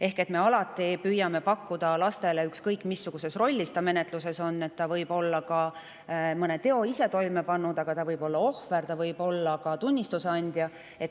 Me püüame alati teha olukorra laste jaoks võimalikult turvaliseks, ükskõik, mis rollis ta menetluses on – ta võib olla ise mõne teo toime pannud, aga ta võib olla ka ohver, tunnistuse andja.